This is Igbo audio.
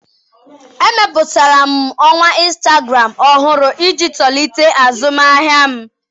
Emepụtara m ọwa Instagram ọhụrụ iji tolite azụmahịa m.